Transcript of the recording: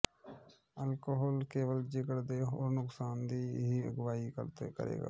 alcohol ਕੇਵਲ ਜਿਗਰ ਦੇ ਹੋਰ ਨੁਕਸਾਨ ਦੀ ਹੀ ਅਗਵਾਈ ਕਰੇਗਾ